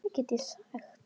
Þannig liðu farsæl ár.